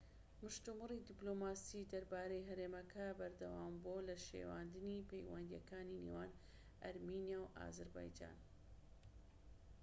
مشتومڕی دیبلۆماسی دەربارەی هەرێمەکە بەردەوامبووە لە شێواندنی پەیوەندیەکانی نێوان ئەرمینیا و ئازەربایجان